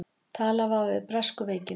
Talað var um bresku veikina.